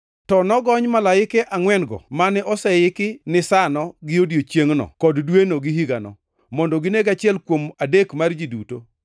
To nogony malaike angʼwen-go mane oseiki ni sa-no gi odiechiengno kod dweno gi higano, mondo gineg achiel kuom adek mar ji duto.